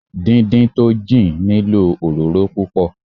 Dín dín tó jìn nílò òróró púpọ̀.